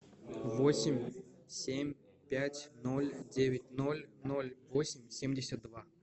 восемь семь пять ноль девять ноль ноль восемь семьдесят два